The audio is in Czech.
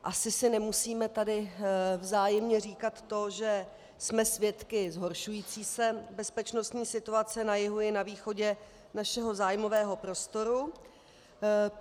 Asi si nemusíme tady vzájemně říkat to, že jsme svědky zhoršující se bezpečnostní situace na jihu i na východě našeho zájmového prostoru.